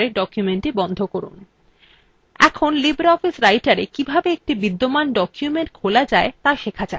এখন libreoffice writerwe কিভাবে একটি বিদ্যমান document খোলা যায় ত়া শেখা যাক